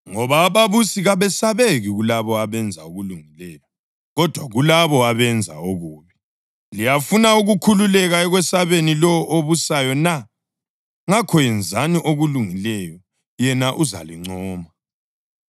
Ngoba ababusi kabesabeki kulabo abenza okulungileyo, kodwa kulabo abenza okubi. Liyafuna ukukhululeka ekwesabeni lowo obusayo na? Ngakho yenzani okulungileyo yena uzalincoma.